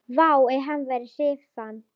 Vá, ef hann væri hrífan!